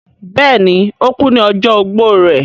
bẹẹni, ó kú ní ọjọ́ ogbó rẹ̀